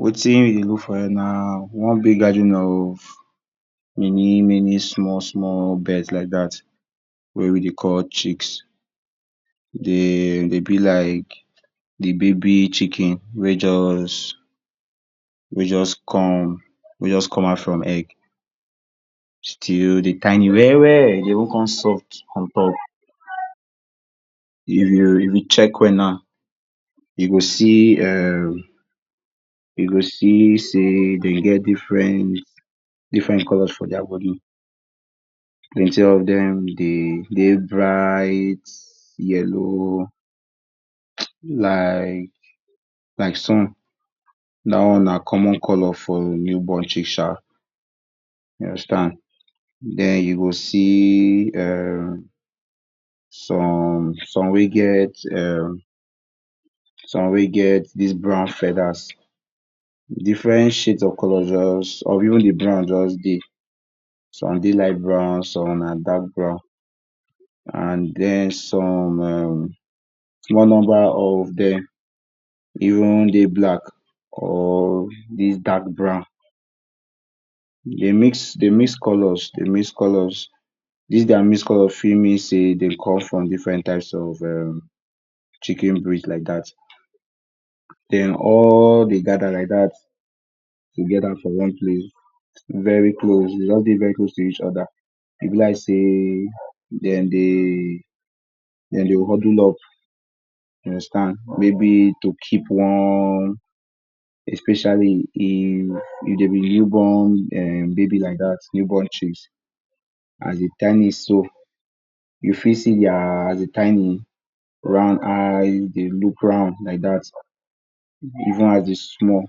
Wetin we dey do here na one big gathering of many-many small-small birds like dat wey we dey call chicks. Dem dey be like de baby chicken wey just, wey just come come out from egg still dey tiny well-well e dey even con soft on top. If you check well now you go see um, you go see sey e dey get different, different colors for their bodi. Plenty of dem dey, dey bright, yellow, like sun. Dat one na common color for new born chick um, you understand. Den you go see um some, some wey get um, some wey get dis brown feathers, different shades of colors just, of even de brown just dey. Some dey light brown, some na dark brown and den some erm small number of dem even dey black or dis dark brown. Dey mix dey mix colors dis their mixed colors fit mean sey dey come from different types of um chicken breed like dat. Den all dey gather like dat together for one place very close, dey go just dey very close to each other. E be like sey dem dey, dem dey huddle up, you understand. maybe to keep warm especially if dey be new born erm baby like dat, new born chicks. As dey tiny so, you fit see their, as dey tiny round eye dey look round like dat even as dey small,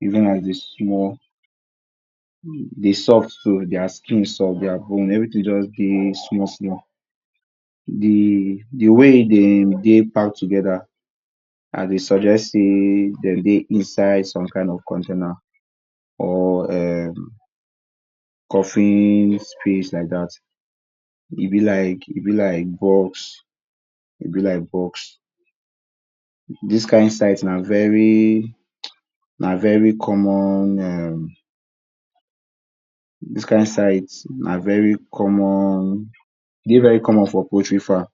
even as dey small dey soft too, their skin soft, their bone everything just dey small-small. De de way e dey dey pack together I dey suggest sey dem dey inside some kind of container or erm coffee space like dat. E be like, e be like box e be like box, d is kind site na very common um, e dey very common for poultry farm.